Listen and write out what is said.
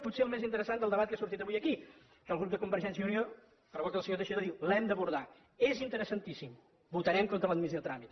potser el més interessant del debat que ha sortit avui aquí que el grup de convergència i unió per boca del senyor teixidor diu que l’hem d’abordar és interesantíssim votarem contra l’admissió a tràmit